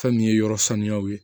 Fɛn min ye yɔrɔ sanuyaw ye